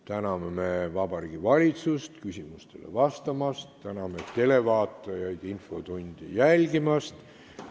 Täname Vabariigi Valitsust küsimustele vastamast ja täname televaatajaid infotundi jälgimast!